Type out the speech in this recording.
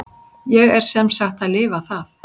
Ég er sem sagt að lifa það.